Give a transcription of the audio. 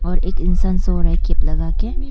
और एक इंसान सो रहा है कैप लगा के।